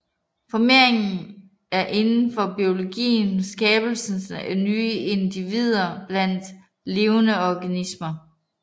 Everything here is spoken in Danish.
Formering er indenfor biologien skabelsen af nye individer blandt levende organismer